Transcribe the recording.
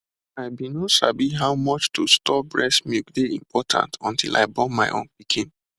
i been no sabi how much to store breast milk dey important until i born my own pikin